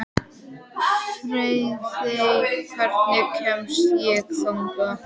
Friðey, hvernig kemst ég þangað?